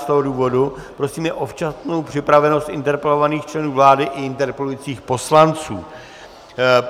Z toho důvodu prosíme o včasnou připravenost interpelovaných členů vlády i interpelujících poslanců.